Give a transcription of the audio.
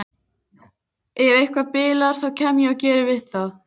Ef eitthvað bilar þá kem ég og geri við það.